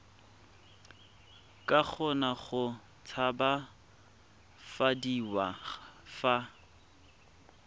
ka kgona go tshabafadiwa fa